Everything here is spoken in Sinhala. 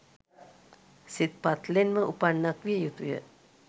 සිත් පත්ලෙන්ම උපන්නක් විය යුතුය.